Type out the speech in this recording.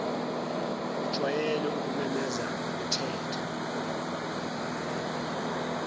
ujwayele ukumemeza uthetha